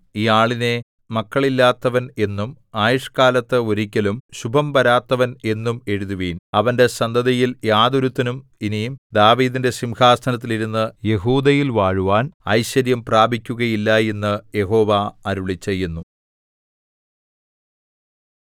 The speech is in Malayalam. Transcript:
ഈ ആളിനെ മക്കളില്ലാത്തവൻ എന്നും ആയുഷ്കാലത്ത് ഒരിക്കലും ശുഭംവരാത്തവൻ എന്നും എഴുതുവിൻ അവന്റെ സന്തതിയിൽ യാതൊരുത്തനും ഇനി ദാവീദിന്റെ സിംഹാസനത്തിൽ ഇരുന്ന് യെഹൂദയിൽ വാഴുവാൻ ഐശ്വര്യം പ്രാപിക്കുകയില്ല എന്ന് യഹോവ അരുളിച്ചെയ്യുന്നു